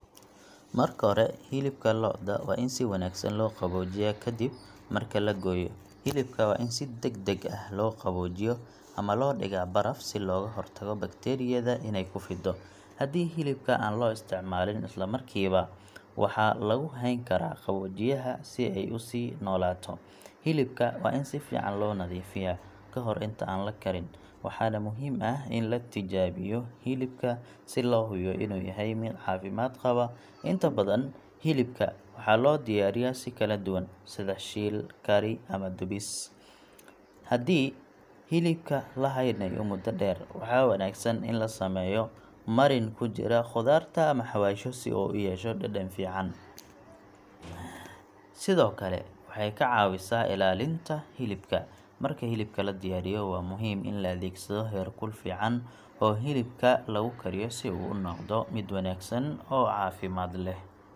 Marka hore, hilibka lo'da waa in si wanaagsan loo qaboojiyaa kadib marka la gooyo. Hilibka waa in si degdeg ah loo qaboojiyo ama loo dhigaa baraf si looga hortago bakteeriyada inay ku fiddo. Haddii hilibka aan loo isticmaalin isla markiiba, waxaa lagu hayn karaa qaboojiyaha si ay u sii noolaato. Hilibka waa in si fiican loo nadiifiyaa ka hor inta aan la karin, waxaana muhiim ah in la tijaabiyo hilibka si loo hubiyo inuu yahay mid caafimaad qaba. Inta badan, hilibka waxaa loo diyaariyaa si kala duwan, sida shiil, kari, ama dubis. Haddii hilibka la haynayo muddo dheer, waxaa wanaagsan in la sameeyo marin ku jira khudaarta ama xawaashyo si uu u yeesho dhadhan fiican, sidoo kale waxay ka caawisaa ilaalinta hilibka. Marka hilibka la diyaariyo, waa muhiim in la adeegsado heer kul fiican oo hilibka lagu kariyo si uu u noqdo mid wanaagsan oo caafimaad leh.